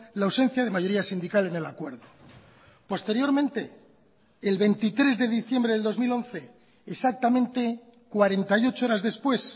la ausencia de mayoría sindical en el acuerdo posteriormente el veintitrés de diciembre del dos mil once exactamente cuarenta y ocho horas después